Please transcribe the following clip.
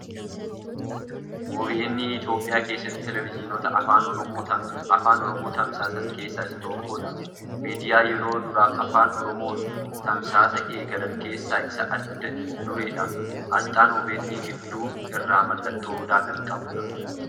OBN Itoophiyaa keessatti Teeleeviizyinota Afaan Oromoo tamsaasan keessaa isa tokkoodha. Miidiyaa yeroo duraaf Afaan Oromooon tamsaasa eegalan keessaa isa adda dureedha. Asxaan OBN gidduu irraa mallattoo Odaa kan qabuudha .